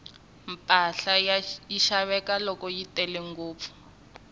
mpahla yi xaveka loko yi tele ngopfu